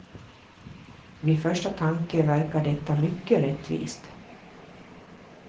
Vid första tanke verkar detta mycket rättvist.